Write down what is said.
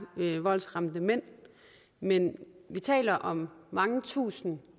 voldsramte mænd men vi taler om mange tusinde